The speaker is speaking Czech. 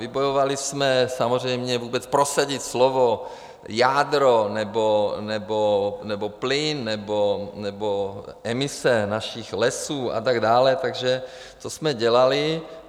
Vybojovali jsme samozřejmě vůbec prosadit slovo jádro nebo plyn nebo emise našich lesů a tak dále, takže to jsme dělali.